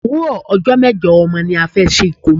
Òwúrò ọjọ́ mejo ọmọ ni a fẹ́ ṣe ikomo.